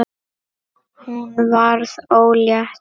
Hún varð ólétt.